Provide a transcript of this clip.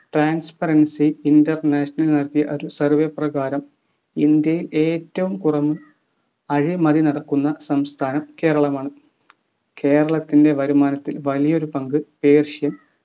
Transperacy International നടത്തിയ ഒരു Survey പ്രകാരം ഇന്ത്യയിൽ ഏറ്റവും കുറവ് അഴിമതി നടക്കുന്ന സംസ്ഥാനം കേരളമാണ്‌ കേരളത്തിൻ്റെ വരുമാനത്തിന്റെ വലിയൊരു പങ്ക് persian